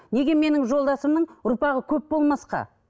неге менің жолдасымның ұрпағы көп болмасқа